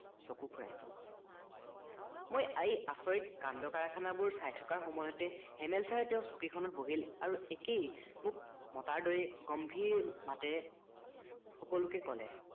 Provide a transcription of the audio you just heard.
চকু ফুৰাইছিল মই এই আচৰিত কাণ্ড কাৰখানা বোৰ চাই থকা সময়তে হেমেল চাৰে তেওঁৰ চকীখনত বহিল আৰু একেই মোক মতাৰ দৰেই গম্ভীৰ মাতেৰে সকলোকে কলে